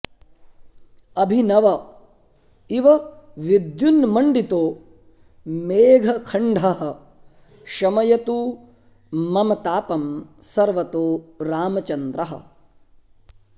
अभिनव इव विद्युन्मण्डितो मेघखण्डः शमयतु मम तापं सर्वतो रामचन्द्रः